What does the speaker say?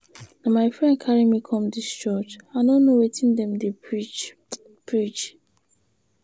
Na my friend carry me come dis church. I no know wetin dem dey preach. preach.